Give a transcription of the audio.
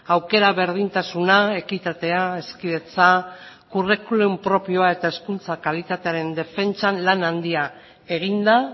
aukera berdintasuna ekitatea hezkidetza curriculum propioa eta hezkuntza kalitatearen defentsan lan handia egin da